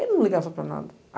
Ele não ligava para nada.